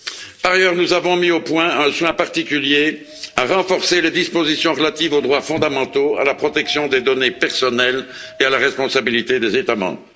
Par ailleurs, nous avons mis un soin particulier à renforcer les dispositions relatives aux droits fondamentaux, à la protection des données personnelles et à la responsabilité des États membres.